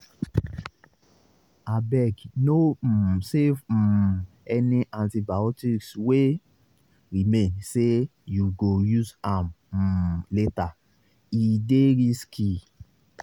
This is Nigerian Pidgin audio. abegno um save um any antibiotics wey remain say you go use am um latere dey risky